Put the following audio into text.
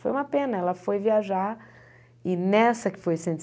Foi uma pena, ela foi viajar e nessa que foi cento e